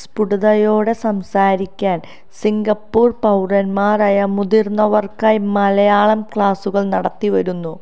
സ്പുടതയോടെ സംസാരിക്കാന് സിങ്കപ്പൂര് പൌരന്മാരായ മുതിര്ന്നവര്ക്കായി മലയാളം ക്ലാസ്സുകളും നടത്തി വരുന്നു